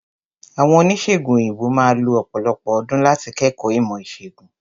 Àwọn Oníṣègùn òyìnbó máà lo ọ̀pọ̀lọpọ̀ ọdún láti kẹ́kọ̀ọ́ ìmọ̀ ìṣègùn.